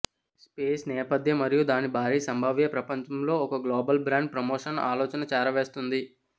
space నేపథ్య మరియు దాని భారీ సంభావ్య ప్రపంచంలో ఒక గ్లోబల్ బ్రాండ్ ప్రమోషన్ ఆలోచన చేరవేస్తుంది